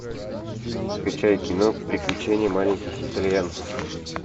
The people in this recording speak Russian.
скачай кино приключения маленьких итальянцев